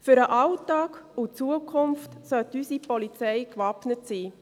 Für den Alltag und für die Zukunft sollte unsere Polizei gewappnet sein.